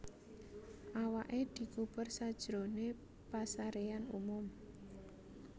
Awaké dikubur sajroné pasaréan umum